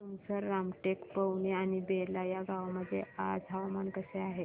तुमसर रामटेक पवनी आणि बेला या गावांमध्ये आज हवामान कसे आहे